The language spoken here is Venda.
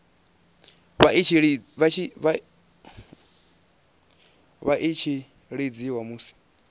vha i tshi lidziwa musi